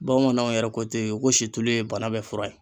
Bamananw yɛrɛ ko ten ko situlu ye bana bɛɛ fura ye.